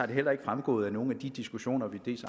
det heller ikke fremgået af nogen af de diskussioner vi